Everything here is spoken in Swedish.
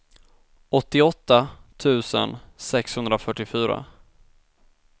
åttioåtta tusen sexhundrafyrtiofyra